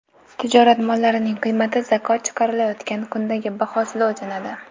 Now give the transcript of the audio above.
Tijorat mollarining qiymati zakot chiqarilayotgan kundagi bahosida o‘lchanadi.